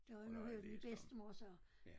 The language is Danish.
Det er noget min bedstemor sagde